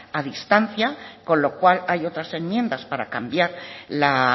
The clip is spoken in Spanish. a distancia con lo cual hay otras enmiendas para cambiar la